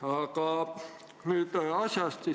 Aga nüüd asjast.